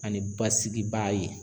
Ani basigi baa ye.